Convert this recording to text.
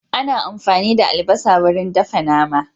Ana amfani da albasa wurin dafa nama.